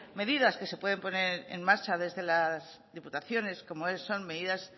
medidas que se pueden poner en marcha desde las diputaciones como son medidas